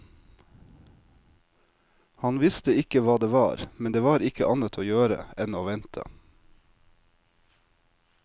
Han visste ikke hva det var, men det var ikke annet å gjøre enn å vente.